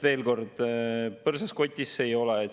Veel kord: põrsas kotis see ei ole.